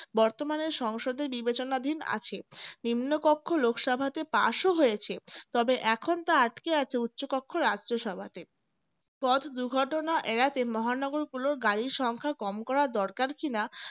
বর্তমানে সংসদে নির্বাচনাধীন আছে নিম্ন কক্ষ লোকসভাতে pass ও হয়েছে তবে এখন তা আটকে আছে উচ্চকক্ষ রাজ্য সভাতে পথ দুর্ঘটনা এড়াতে মহানগর গুলোর গাড়ির সংখ্যা কম করা দরকার কিনা